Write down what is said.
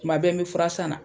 Tuma bɛ n bɛ fura san na.